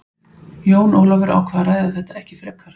Jón Ólafur ákvað að ræða þetta ekki frekar.